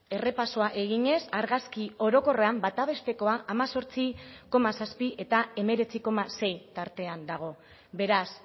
errepasoa eginez argazki orokorrean bata bestekoa hemezortzi koma zazpi eta hemeretzi koma sei tartean dago beraz